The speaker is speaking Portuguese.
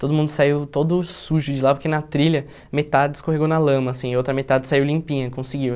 Todo mundo saiu todo sujo de lá, porque na trilha metade escorregou na lama, assim, e outra metade saiu limpinha, conseguiu.